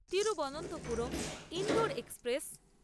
Thiruvananthapuram-Indore express